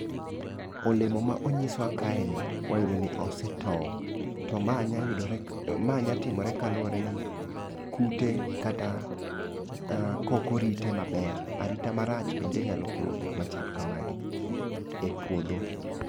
Olemo ma onyiswa kae ni wayudo ni osetow to ma nya yudore ma nya timore kaluipre ni kute kata kokorite maber. Arita marach bende nyalo kelo gik machal kamagi e puodho.